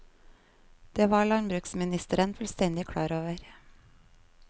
Det var landbruksministeren fullstendig klar over.